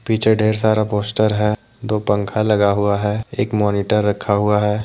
नीचे ढेर सारा पोस्टर है। दो पंखा लगा हुआ है। एक मॉनिटर रखा हुआ है।